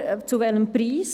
Aber zu welchem Preis?